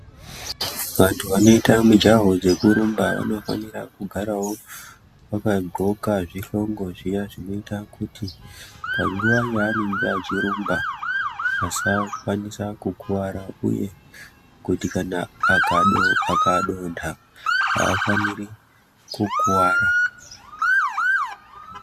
Vantu vanoita mijaho dzekurumba vanofanira kugarawo vakaqoka zvihlongo zviya zvinoita kuti panguwa yaanenge achirumba asakwanisa kukuwara uye kuti kana akadonha aafaniri kukuwara.